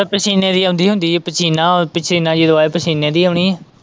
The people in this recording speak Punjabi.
ਤੇ ਪਸੀਨੇ ਦੀ ਆਉਂਦੀ ਹੁੰਦੀ, ਪਸੀਨਾ, ਪਸੀਨਾ ਜਦੋਂ ਆਇਆ, ਪਸੀਨੇ ਦੀ ਆਉਣੀ ਆ।